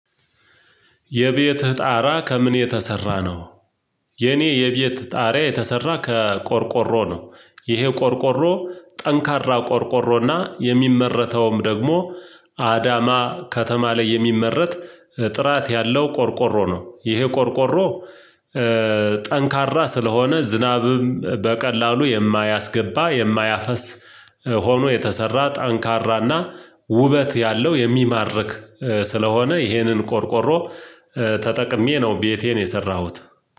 የቤትህ ጣራ ከምን የተሰራ ነው? የኔ የቤት ጣሪያየ የተሰራ ከቆርቆሮ ነው፤ ይሄ ቆርቆሮ ጠንካራ ቆርቆሮና የሚመረተውም ደግሞ አዳማ ከተማ ላይ የሚመረጥ ጥራት ያለው ቆርቆሮ ነው፤ ይሄ ቆርቆሮ ስለሆነ ዝናብም በቀላሉ የማያስገባ፣ የማያፈስ ሆኖ የተሰራ ጠንካራና ውበት ያለው የሚማርክ ስለሆነ ይሄንን ቆርቆሮ ተጠቅሜ ነው ቤቴን የሰራሁት።